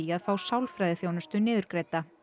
að fá sálfræðiþjónustu niðurgreidda